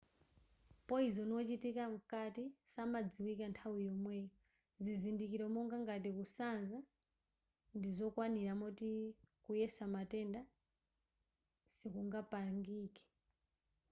poyizoni wochitikira mkati samadziwika nthawi yomweyo zizindikiro monga ngati kusanza ndizokwanira moti kuyesa matenda sikungapangike